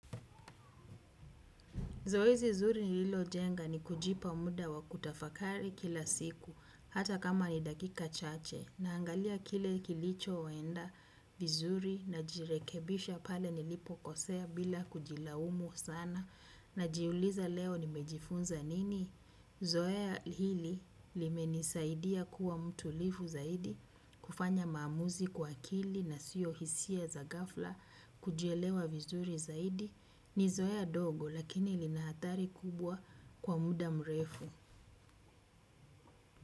Zoezi zuri nililojenga ni kujipa muda wa kutafakari kila siku hata kama ni dakika chache naangalia kile kilichoenda vizuri najirekebisha pale nilipo kosea bila kujilaumu sana najiuliza leo nimejifunza nini? Zoea hili limenisaidia kuwa mtulivu zaidi kufanya maamuzi kwa akili na sio hisia za gafla kujielewa vizuri zaidi ni zoea dogo lakini lina athari kubwa kwa muda mrefu.